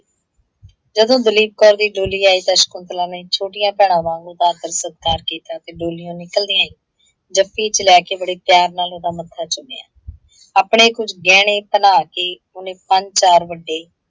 ਜਦੋਂ ਦਲੀਪ ਕੌਰ ਦੀ ਡੋਲੀ ਆਈ ਤਾਂ ਸ਼ਕੁੰਤਲਾ ਨੇ ਛੋਟੀਆਂ ਭੈਣਾ ਵਾਂਗ ਉਹਦਾ ਆਦਰ- ਸਤਿਕਾਰ ਕੀਤਾ ਤੇ ਡੋਲੀਓ ਨਿੱਕਲਦਿਆਂ ਹੀ, ਜੱਫੀ ਚ ਲੈਕੇ ਬੜੇ ਪਿਆਰ ਨਾਲ ਉਹਦਾ ਮੱਥਾ ਚੁੰਮਿਆ। ਆਪਣੇ ਕੁੱਝ ਗਹਿਣੇ ਭੰਨਾਂ ਕਿ ਉਹਨੇ ਪੰਜ ਚਾਰ ਵੱਡੇ